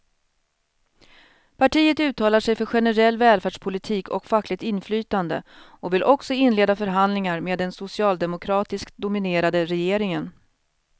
Partiet uttalar sig för generell välfärdspolitik och fackligt inflytande och vill också inleda förhandlingar med den socialdemokratiskt dominerade regeringen.